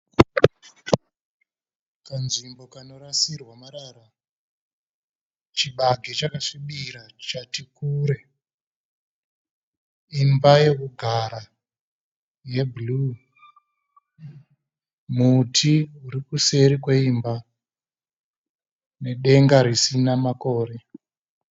Kanzvimbo kanorasirwa marara. Chibage chakasvibira chati kure. Imba yekugara yeblue. Muti uri kuseri kweimba nedenga risina makore.